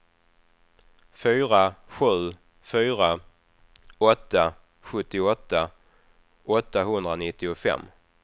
fyra sju fyra åtta sjuttioåtta åttahundranittiofem